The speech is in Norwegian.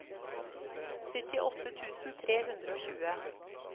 syttiåtte tusen tre hundre og tjue